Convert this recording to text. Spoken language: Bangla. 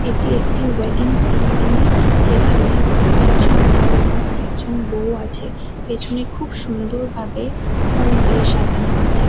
এটি একটি ওয়েডিং সেরেমনি যেখানে একজন বর এবং আরেকজন বৌ আছে। পেছনে খুব সুন্দর ভাবে ফুল দিয়ে সাজানো আছে।